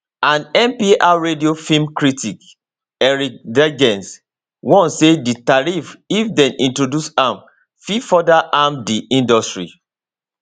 and npr radio film critic eric deggans warn say di tariffs if dem introduce am fit further harm di industry